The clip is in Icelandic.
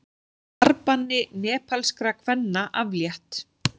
Farbanni nepalskra kvenna aflétt